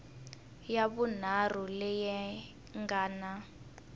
ya vunharhu leyi nga na